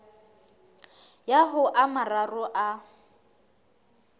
ya ho a mararo a